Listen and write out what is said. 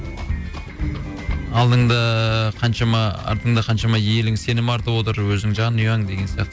алдыңда қаншама артыңда қаншама елің сенім артып отыр өзің жанұяң деген сияқты